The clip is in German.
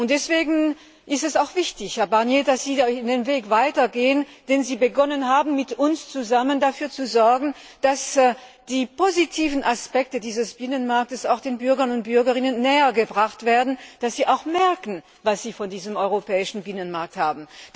Deswegen ist es wichtig, Herr Barnier, dass Sie den Weg weitergehen, den Sie begonnen haben, mit uns zusammen dafür zu sorgen, dass die positiven Aspekte dieses Binnenmarktes auch den Bürgern und Bürgerinnen nähergebracht werden, dass sie merken, was sie von diesem europäischen Binnenmarkt haben.